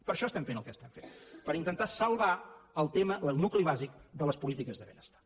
per això estem fent el que estem fent per intentar salvar el tema el nucli bàsic de les polítiques de benestar